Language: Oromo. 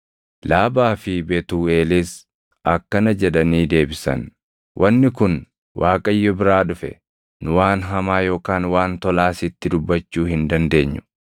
Laabaa fi Betuuʼeelis akkana jedhanii deebisan; “Wanni kun Waaqayyo biraa dhufe; nu waan hamaa yookaan waan tolaa sitti dubbachuu hin dandeenyu.